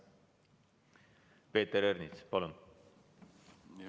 Peeter Ernits, palun!